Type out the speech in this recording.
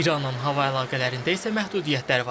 İranın hava əlaqələrində isə məhdudiyyətlər var.